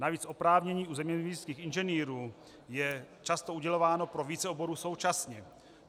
Navíc oprávnění u zeměměřických inženýrů je často udělováno pro více oborů současně.